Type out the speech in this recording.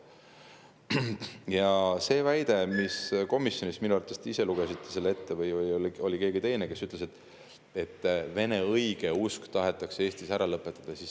Komisjonis oli väide – minu te ise lugesite selle ette või ütles seda keegi teine –, et Vene õigeusk tahetakse Eestis ära lõpetada.